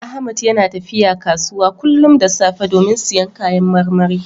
Ahmad yana tafiya kasuwa kullum da safe domin siyan kayan marmari.